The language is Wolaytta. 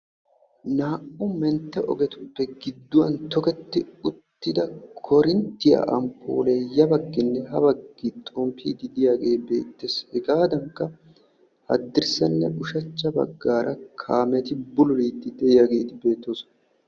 Naa'u mentte ogetupe giduwan toketti uttida korinttiya ampole ya baggine ha baggi xomppidi de'iyage betees. He gadanka hadirssane ushshacha baggi kaameti bululidi de'iyageti betosona.